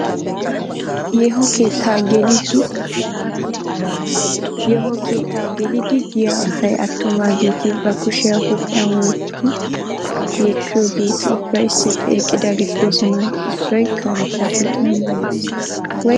Yeeho keettaa geliiddi diya asay attumaageeti ba kushiya huuphiyan wotti yeekkuyageeti ubbay issippe eqqidaageeti doosona. Issoy karetta kootiya maayi uttis.